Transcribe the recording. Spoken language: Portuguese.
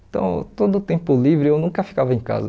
Então, todo tempo livre, eu nunca ficava em casa.